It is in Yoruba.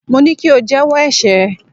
Mo ní kí o jẹ́wọ́ ẹ̀ṣẹ̀ ẹ.!